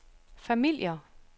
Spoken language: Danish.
familier